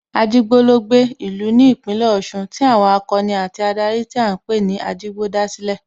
Ajigbo ló gbé, ìlú ní Ìpínlẹ̀ Ọ̀ṣun tí àwọn akọni àti adarí tí à ń pè ní Ajigbo dá sílẹ̀